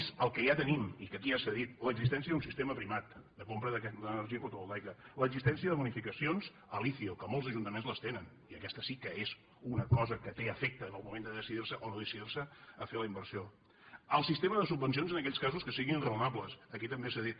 més el que ja tenim i que aquí ja s’ha dit l’existència d’un sistema primat de compra d’energia fotovoltaica l’existència de bo·nificacions l’icio que molts ajuntaments les tenen i aquesta sí que és una cosa que té efecte en el moment de decidir·se o no decidir·se a fer la inversió el sistema de subvencions en aquells casos que siguin raonables que aquí també s’ha dit